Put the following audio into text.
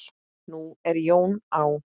Nú er Jón á